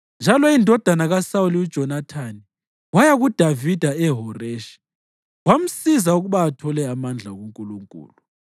Njalo indodana kaSawuli uJonathani waya kuDavida eHoreshi wamsiza ukuba athole amandla kuNkulunkulu.